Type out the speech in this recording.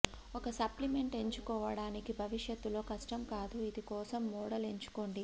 ఒక సప్లిమెంట్ ఎంచుకోవడానికి భవిష్యత్తులో కష్టం కాదు ఇది కోసం మోడల్ ఎంచుకోండి